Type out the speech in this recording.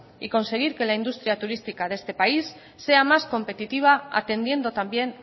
y conseguir que la industria turística de este país sea más competitiva atendiendo también